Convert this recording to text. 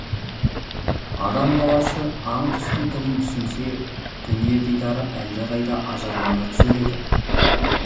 адам баласы аң құстың тілін түсінсе дүние дидары әлдеқайда ажарлана түсер еді